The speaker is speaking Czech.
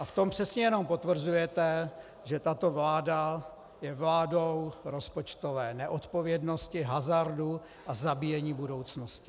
A v tom přesně jen potvrzujete, že tato vláda je vládou rozpočtové neodpovědnosti, hazardu a zabíjení budoucnosti.